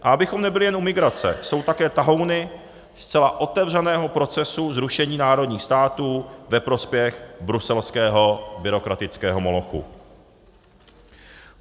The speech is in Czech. A abychom nebyli jen u migrace, jsou také tahouny zcela otevřeného procesu zrušení národních států ve prospěch bruselského byrokratického molochu.